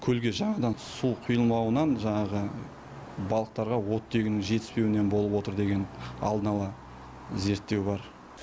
көлге жаңадан су құйылмауынан жаңағы балықтарға оттегінің жетіспеуінен болып отыр деген алдын ала зерттеу бар